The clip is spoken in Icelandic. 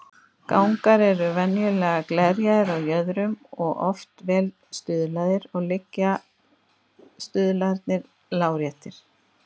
Gangar eru venjulega glerjaðir á jöðrum og oft vel stuðlaðir, og liggja stuðlarnir láréttir.